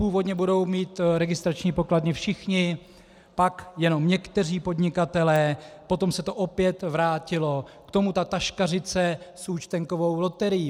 Původně budou mít registrační pokladny všichni, pak jenom někteří podnikatelé, potom se to opět vrátilo, k tomu ta taškařice s účtenkovou loterií.